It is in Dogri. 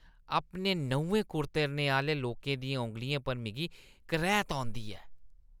अपने न्हुं कुतरने आह्‌ले लोकें दियें औंगलियें पर मिगी करैह्‌त औंदी ऐ।